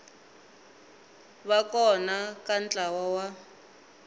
va kona ka ntlawa wa